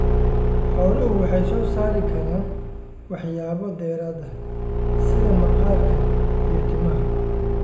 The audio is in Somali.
Xooluhu waxay soo saari karaan waxyaabo dheeraad ah sida maqaarka iyo timaha.